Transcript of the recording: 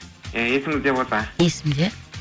есіңізде болса есімде